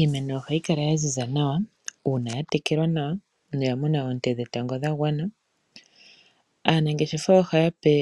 Iimeno ohayi kala ya ziza nawa uuna ya tekelwa nawa noya mona oonte dhetango dha gwana nawa aanangeshefa ohaa pe